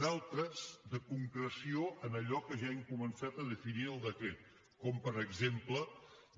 d’altres de concreció en allò que ja hem començat a definir al decret com per exemple